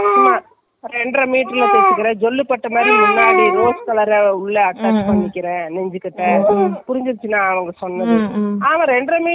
அவன் ரெண்டரை meter ல எப்படி தைப்பான்னா , போதும் இல்லை.அப்புறம் இருந்துகிட்டு ஏதாவது lace சோ, ஜாக்கெட் துணியோ வாங்கி full ல கிழ border கொடுத்துடுவேன். இது எல்லாம் ஆகுற வேலை இல்ல.